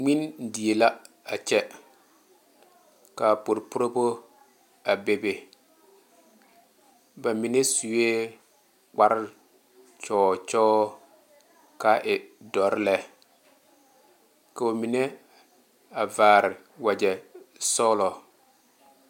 Ŋmene die la a kyɛ ka puopuorebo a bebe ba mine sue kparre gyɔɔ gyɔɔ kaa e dɔre lɛ ka ba mine a vaare wagye sɔgelɔ